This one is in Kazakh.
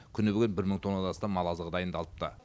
күні бүгін бір мың тоннадан астам мал азығы дайындалыпты